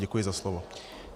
Děkuji za slovo.